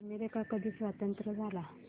America कधी स्वतंत्र झाला